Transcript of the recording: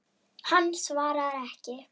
Hann svarar ekki.